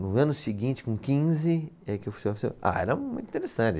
No ano seguinte, com quinze, é que eu fui se office... Ah, era muito interessante.